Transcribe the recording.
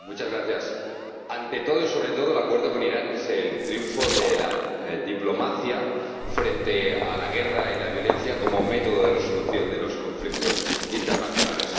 Señor Presidente, ante todo y sobre todo el Acuerdo con Irán es el triunfo de la diplomacia frente a la guerra y la violencia como método de resolución de los conflictos internacionales.